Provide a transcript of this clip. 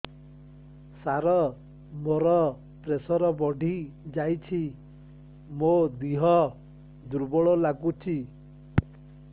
ସାର ମୋର ପ୍ରେସର ବଢ଼ିଯାଇଛି ମୋ ଦିହ ଦୁର୍ବଳ ଲାଗୁଚି